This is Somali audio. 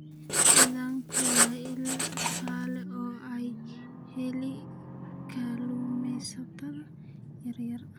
Kalluunku waa il dhaqaale oo ay helaan kalluumaysatada yaryar.